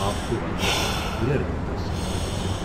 آب، تہٕ وزنس منٛز ہُریر متٲثِر ہیٚکہِ گٔژِھتھ۔